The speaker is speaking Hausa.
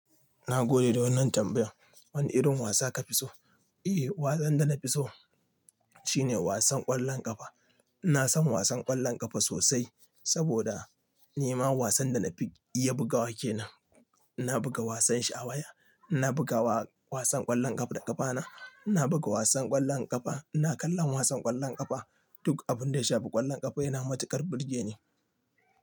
Na gode da wannan tambayar. Wane irin wasa ka fi so? Eh, wasan da na fi so shine wasan ƙwallon ƙafa. iNa san wasan ƙwallon ƙafa sosai saboda ni ma wasan da na fi iya bugawa ke nan. iNa buga wasan sha waya, ina buga wasan ƙwallon ƙafa da ƙafa na, ina buga wasan ƙwallon ƙafa. Na kalla wasan ƙwallon ƙafa. Duk abin da ya shafi ƙwallon ƙafa yana matuƙar burge ni.